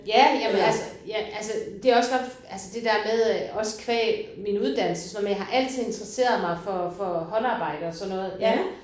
Ja jamen altså ja altså det også altså det der med øh også qua min uddannelse og sådan noget men jeg har altid interesseret mig for for håndarbejde og sådan noget ja